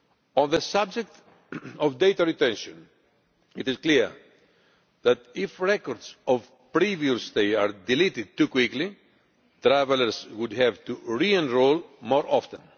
On the subject of data retention, it is clear that if records of previous data are deleted too quickly travellers would have to re enrol more often.